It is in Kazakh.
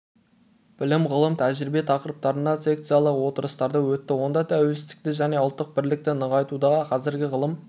білім ғылым тәжірибе тақырыптарында секциялық отырыстары өтті онда тәуелсіздікті және ұлттық бірлікті нығайтудағы қазіргі ғылым